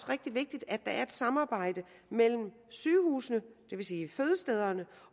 rigtig vigtigt at der er et samarbejde mellem sygehusene det vil sige fødestederne